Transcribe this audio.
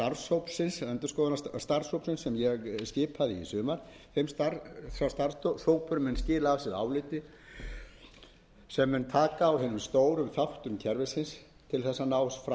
sem ég skipaði í sumar nefndin mun mun skila af sér ætti sem mun taka á hinum stóru þáttum kerfisins til þess að ná fram sátt um það meðal þjóðarinnar bind ég